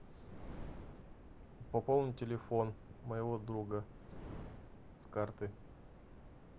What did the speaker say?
пополни телефон моего друга с карты